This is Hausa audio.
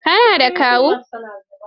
Ka na da Kawu?